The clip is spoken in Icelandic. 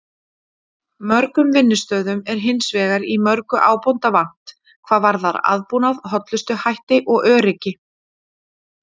Mörgum vinnustöðum er hins vegar í mörgu ábótavant hvað varðar aðbúnað, hollustuhætti og öryggi.